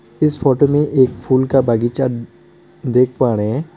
इस फोटो में एक फूल का बगीचा देख पा रहे हैं।